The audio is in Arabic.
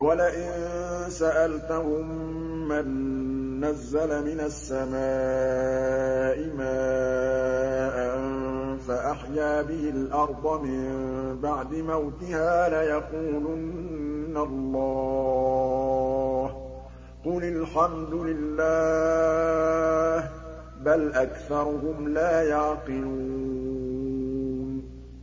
وَلَئِن سَأَلْتَهُم مَّن نَّزَّلَ مِنَ السَّمَاءِ مَاءً فَأَحْيَا بِهِ الْأَرْضَ مِن بَعْدِ مَوْتِهَا لَيَقُولُنَّ اللَّهُ ۚ قُلِ الْحَمْدُ لِلَّهِ ۚ بَلْ أَكْثَرُهُمْ لَا يَعْقِلُونَ